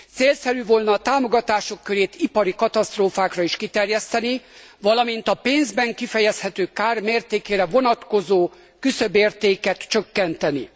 Célszerű volna a támogatások körét ipari katasztrófákra is kiterjeszteni, valamint a pénzben kifejezhető kár mértékére vonatkozó küszöbértéket csökkenteni.